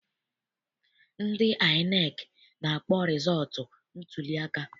Ndị INEC na-akpọ rịzọọtụ ntuliaka.